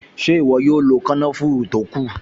Ṣé ìwọ yóò lo kànáfùrù tó kù?